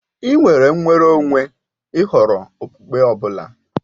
Ị́ nwere nnwere onwe ì họrọ okpukpe ọ bụla.